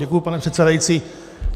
Děkuji, pane předsedající.